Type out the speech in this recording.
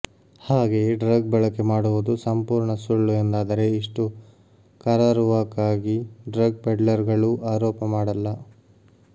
ಹಾಗೆಯೇ ಡ್ರಗ್ ಬಳಕೆ ಮಾಡುವುದು ಸಂಪೂರ್ಣ ಸುಳ್ಳು ಎಂದಾದರೆ ಇಷ್ಟು ಕರಾರುವಾಕ್ ಆಗಿ ಡ್ರಗ್ ಪೆಡ್ಲರ್ ಗಳೂ ಆರೋಪ ಮಾಡಲ್ಲ